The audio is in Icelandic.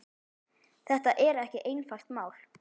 Þetta er ekki einfalt mál.